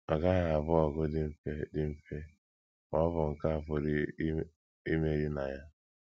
Ọ gaghị abụ ọgụ dị mfe dị mfe, ma ọ bụ nke a pụrụ ime imeri na ya.